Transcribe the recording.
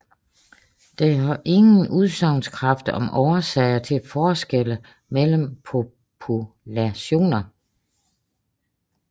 Den har ingen udsagnskraft om årsager til forskelle mellem populationer